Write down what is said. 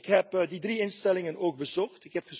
Ik heb die drie instellingen ook bezocht.